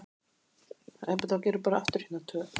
Auð atkvæði